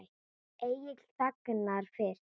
Egill þagnar fyrst.